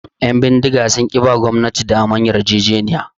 Ƴan bindiga sun ki suba gwamnati damar yarjejeniya